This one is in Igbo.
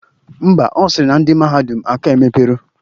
Ḿbà, Ọ sịrị na ndị mahadum aka emepero